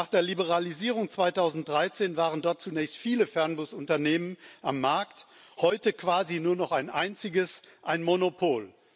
Nach der Liberalisierung 2013 waren dort zunächst viele Fernbusunternehmen am Markt, heute quasi nur noch ein einziges, ein Monopol.